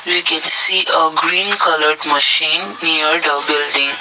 we can see uh green coloured machine near the building.